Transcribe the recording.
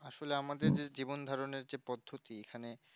আসলে আমাদের যে জীবন ধরণের পদ্ধতি এখানে